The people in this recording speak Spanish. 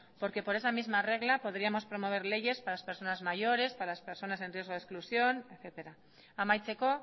porque por esa misma regla podríamos promover leyes para las personas mayores para las personas en riesgo de exclusión etcétera amaitzeko